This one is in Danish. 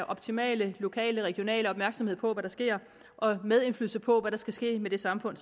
optimale lokale og regionale opmærksomhed på hvad der sker og have medindflydelse på hvad der skal ske med det samfund